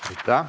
Aitäh!